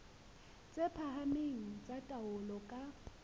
tse phahameng tsa taolo ka